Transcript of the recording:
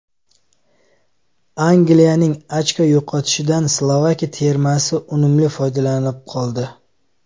Angliyaning ochko yo‘qotishidan Slovakiya termasi unumli foydalanib qoldi.